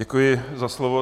Děkuji za slovo.